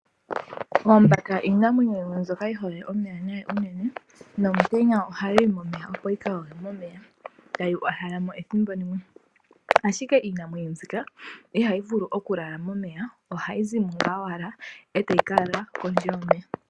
Oombaka iinamwenyo mbyoka yi hole omeya nayi unene, nomutenya ha yiyi momeya opo yi kayoge omeya, ta yi uhala mo ethimbo limwe. Ashike iinamwenyo mbika iha yi vulu okulala momeya. Oha yi zimo owala ee ta yi ka lala kondje yomeya